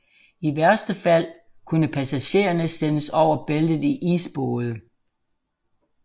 I værste fald kunne passagererne sendes over Bæltet i isbåde